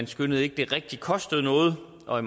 skønnede det rigtig kostede noget og at